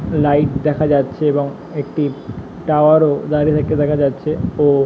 Light দেখা যাচ্ছে এবং একটি টাওয়ার -ও দাঁড়িয়ে থাকতে দেখা যাচ্ছে। ও --